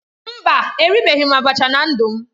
Mba, eribeghị m abacha na ndu m